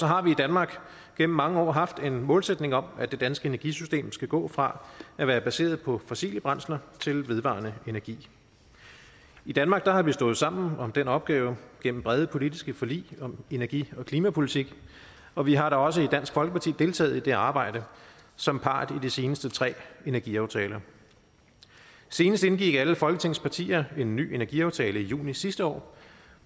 har vi i danmark igennem mange år haft en målsætning om at det danske energisystem skal gå fra at være baseret på fossile brændsler til vedvarende energi i danmark har vi stået sammen om den opgave gennem brede politiske forlig om energi og klimapolitik og vi har da også i dansk folkeparti deltaget i det arbejde som part i de seneste tre energiaftaler senest indgik alle folketingets partier en ny energiaftale i juni sidste år